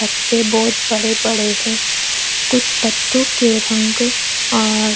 पत्ते बहोत बड़े बड़े है कुछ पत्तों के रंग और--